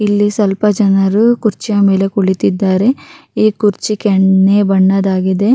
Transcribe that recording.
ಇಲ್ಲಿ ಸ್ವಲ್ಪ ಜನರು ಕುರ್ಚಿ ಮೇಲೆ ಕುಳಿತಿದ್ದರೆ ಈ ಕುರ್ಚಿ ಬಣ್ಣದಾಗಿದೆ.